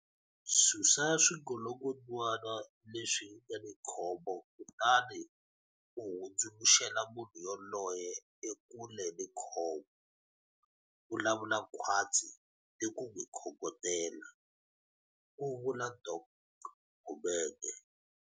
Susa swingolongondzwana leswi nga ni khombo kutani u hundzu luxela munhu yoloye ekule ni khombo. Vulavula khwatsi ni ku n'wi khongotela, ku vula Dok Gumede.